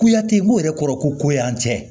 Kuyate mun yɛrɛ kɔrɔ ko y'an cɛ